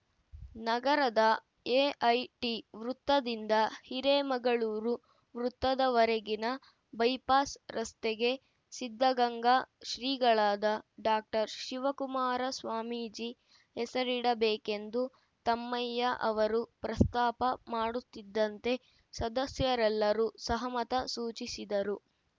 ನಗರದ ಎಐಟಿ ವೃತ್ತದಿಂದ ಹಿರೇಮಗಳೂರು ವೃತ್ತದವರೆಗಿನ ಬೈಪಾಸ್‌ ರಸ್ತೆಗೆ ಸಿದ್ದಗಂಗಾ ಶ್ರೀಗಳಾದ ಡಾಕ್ಟರ್ ಶಿವಕುಮಾರ ಸ್ವಾಮೀಜಿ ಹೆಸರಿಡಬೇಕೆಂದು ತಮ್ಮಯ್ಯ ಅವರು ಪ್ರಸ್ತಾಪ ಮಾಡುತ್ತಿದ್ದಂತೆ ಸದಸ್ಯರೆಲ್ಲರೂ ಸಹಮತ ಸೂಚಿಸಿದರು